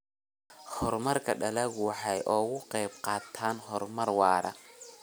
Horumarka dalaggu waxa uu ka qayb qaataa horumar waara.